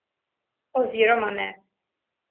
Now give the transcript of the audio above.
Oziroma ne.